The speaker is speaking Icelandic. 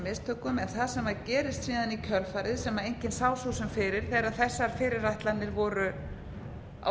mistökum en það sem gerist síðan í kjölfarið sem enginn sá svo sem fyrir þegar þessar fyrirætlanir voru á